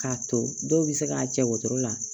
K'a to dɔw bɛ se k'a cɛ wotoro la